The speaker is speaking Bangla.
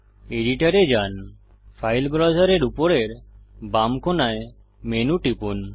এডিটর এ যান ফাইল ব্রাউজারের উপরের বাম কোণায় মেনু টিপুন